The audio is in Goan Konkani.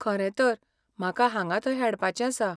खरेंतर, म्हाका हांगा थंय हेडपाचें आसा.